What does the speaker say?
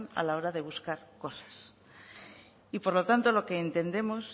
a la hora de buscar cosas y por lo tanto lo que entendemos